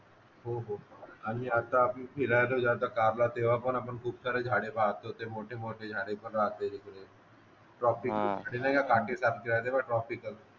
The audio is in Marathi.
हो हो हो आणि आता फिरायला कारला तेव्हा पण आपण खूप सारे झाडे पाहतो ते मोठे मोठे झाडे पण राहते टॉपिक वगैरे छोटे छोटे काटेच असतात तेव्हा ट्राफिक